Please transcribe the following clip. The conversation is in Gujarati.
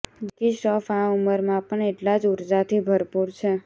જેકી શ્રોફ આ ઉમરમાં પણ એટલા જ ઊર્જાથી ભરપૂર છે